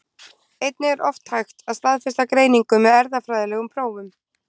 Einnig er oft hægt að staðfesta greiningu með erfðafræðilegum prófum.